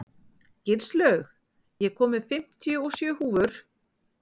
Gilslaug, ég kom með fimmtíu og sjö húfur!